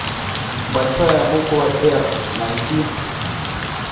большая буква р найти